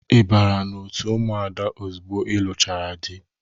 I bara na-otu ụmụada ozugbo ị lụchaara dị?